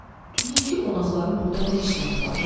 Dünənki qonaqların burda nə işləri var?